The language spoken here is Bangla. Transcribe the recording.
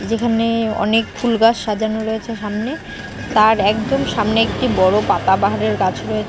যেখানে-এ অনেক ফুল গাছ সাজানো রয়েছে সামনে তার একদম সামনে একটি বড় পাতা বাহারের গাছ রয়ে --